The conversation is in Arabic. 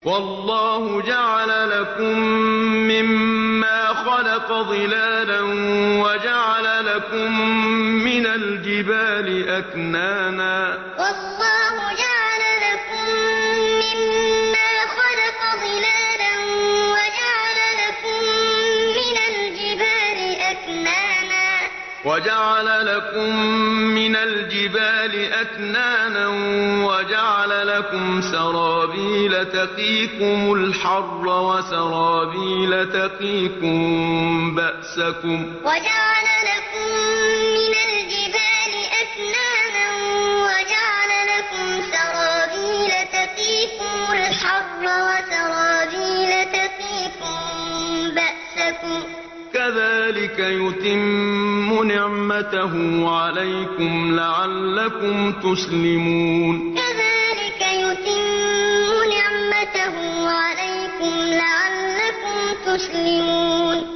وَاللَّهُ جَعَلَ لَكُم مِّمَّا خَلَقَ ظِلَالًا وَجَعَلَ لَكُم مِّنَ الْجِبَالِ أَكْنَانًا وَجَعَلَ لَكُمْ سَرَابِيلَ تَقِيكُمُ الْحَرَّ وَسَرَابِيلَ تَقِيكُم بَأْسَكُمْ ۚ كَذَٰلِكَ يُتِمُّ نِعْمَتَهُ عَلَيْكُمْ لَعَلَّكُمْ تُسْلِمُونَ وَاللَّهُ جَعَلَ لَكُم مِّمَّا خَلَقَ ظِلَالًا وَجَعَلَ لَكُم مِّنَ الْجِبَالِ أَكْنَانًا وَجَعَلَ لَكُمْ سَرَابِيلَ تَقِيكُمُ الْحَرَّ وَسَرَابِيلَ تَقِيكُم بَأْسَكُمْ ۚ كَذَٰلِكَ يُتِمُّ نِعْمَتَهُ عَلَيْكُمْ لَعَلَّكُمْ تُسْلِمُونَ